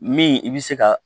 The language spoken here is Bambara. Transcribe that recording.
Min i bi se ka